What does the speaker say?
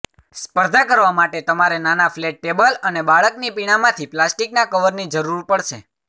સ્પર્ધા કરવા માટે તમારે નાના ફ્લેટ ટેબલ અને બાળકની પીણામાંથી પ્લાસ્ટિકના કવરની જરૂર પડશે